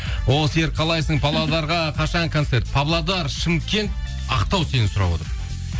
о серік қалайсың павлодарға қашан концерт павлодар шымкент ақтау сені сұрап отыр